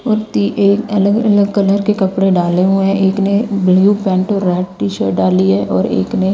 कुर्ती एक अलग-अलग कलर के कपड़े डाले हुए है। एक ने ब्लू पैंट और रेड टी-शर्ट डाली है और एक ने--